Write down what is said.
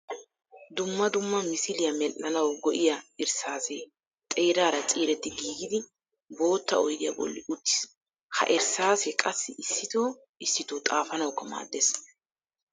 Dumma dumma misiliya medhdhanawu go'iya irssaasse xeerara ciiretti giiggidi bootta oyddiya bolli uttiis. Ha irssaasse qassi issitto issitto xaafanawukka maadees.